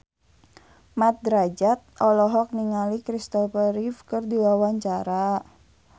Mat Drajat olohok ningali Christopher Reeve keur diwawancara